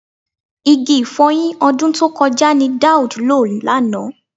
Igi ì̀fọyin ọdún tó kọjá ni Daud lò lánàá